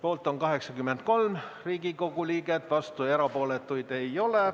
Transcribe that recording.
Poolt on 83 Riigikogu liiget, vastuolijaid ega erapooletuid ei ole.